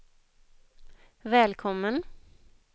välkommen